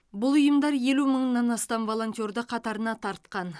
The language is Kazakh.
бұл ұйымдар елу мыңнан астам волонтерді қатарына тартқан